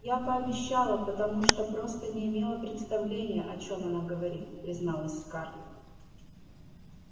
я пообещала потому что просто не имела представления о чём она говорит призналась скарлетт